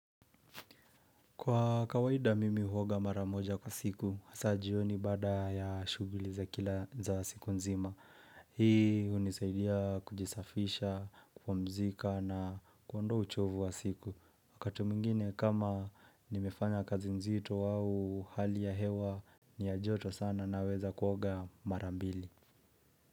Kwa kawaida mimi huoga mara moja kwa siku, hasa jioni baada ya shughuli za kila za siku nzima. Hii hunisaidia kujisafisha, kupumzika na kuondoa uchovu wa siku. Wakati mwingine kama nimefanya kazi nzito au hali ya hewa, ni ya joto sana naweza kuoga mara mbili.